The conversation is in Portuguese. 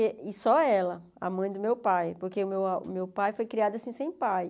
Eh e só ela, a mãe do meu pai, porque o meu a meu pai foi criado assim sem pai.